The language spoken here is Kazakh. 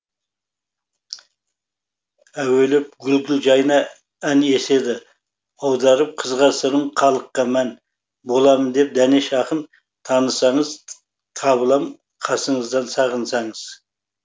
әуелеп гүл гүл жайна ән еседі аударып қызға сырын халыққа мән боламын деп дәнеш ақын танысаңыз табылам қасыңыздан сағынсаңыз